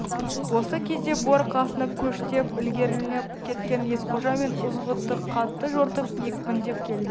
осы кезде бұлар қасына көштен ілгерілеп кеткен есқожа мен ызғұтты қатты жортып екпіндеп келді